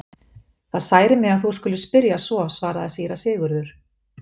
Það særir mig að þú skulir spyrja svo, svaraði síra Sigurður.